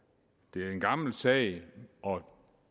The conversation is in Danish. det er en gammel sag og